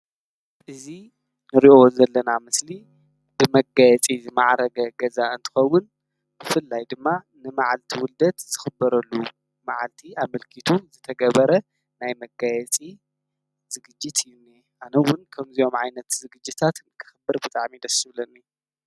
እዙ ንርዮ ዘለና ምስሊ ብመጋየጺ ዝመዓረገ ገዛ እንተኸውን ብፍልላይ ድማ ንመዓልቲ ውልደት ዘኽበረሉ መዓልቲ ኣመልኪቱ ዘተገበረ ናይ መጋየጺ ዝግጅት እዩኒ ኣነውን ከምዘዮም ዓይነት ዝግጅታት ንክኸብር ብጣም ይደስብለኒ